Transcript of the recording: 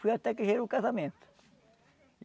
Foi até que gerou o casamento.